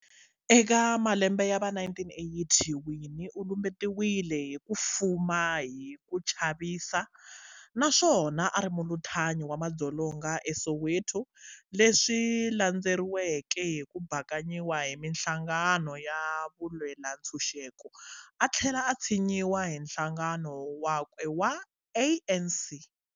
Eka malembe yava 1980, Winnie ulumbetiwe hi kufuma hi kuchavisa naswona ari muluthanyi wa mandzolonga e Soweto, leswi landzeriweke hiku bakanyiwa hi minhlangano ya vulwelantshuxeko, athlela a tshinyiwa hi nhlangano wakwe wa ANC.